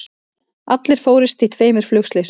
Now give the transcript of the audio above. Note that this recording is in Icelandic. Allir fórust í tveimur flugslysum